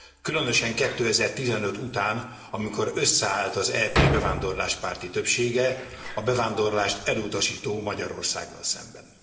Különösen 2015 után, amikor összeállt az EP bevándorláspárti többsége a bevándorlást elutasító Magyarországgal szemben.